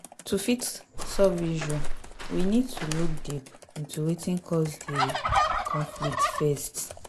to fit solve issue we need to look deep into wetin cause di conflict first